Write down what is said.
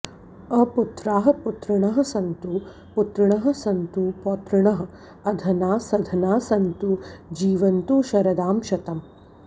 अपुत्राः पुत्रिणः सन्तु पुत्रिणः सन्तु पौत्रिणः अधनाः सधनाः सन्तु जीवन्तु शरदां शतम्